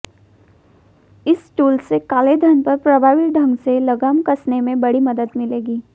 इस टूल से कालेधन पर प्रभावी ढंग से लगाम कसने में बड़ी मदद मिलेगी